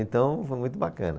Então, foi muito bacana.